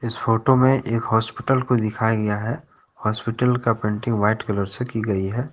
Photo में एक hospital को दिखाया गया है हॉस्पिटल का पेंटिंग व्हाइट कलर से की गई है।